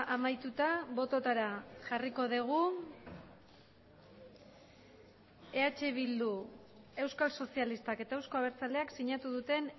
amaituta bototara jarriko dugu eh bildu euskal sozialistak eta euzko abertzaleak sinatu duten